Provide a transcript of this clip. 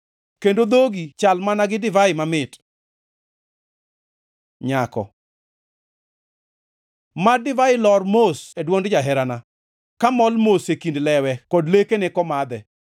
kendo dhogi chal mana gi divai mamit. Nyako Mad divai lor mos e dwond jaherana, kamol mos e kind lewe kod lekene komadhe.